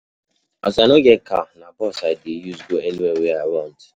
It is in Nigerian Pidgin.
As I no get car, na bus I dey use go anywhere wey I want.